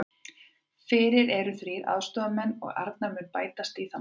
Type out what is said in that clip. Fyrir eru þrír aðstoðarmenn og Arnar mun bætast í þann hóp.